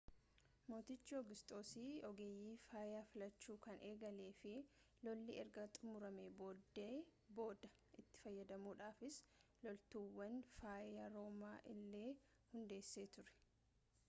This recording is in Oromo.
mootichi oogusxoos ogeeyyii fayyaa filachuu kan eegale fi lolli erga xumuramee booda itti fayyadamuudhaafis loltuuwwan fayyaa roomaa illee hundeessee ture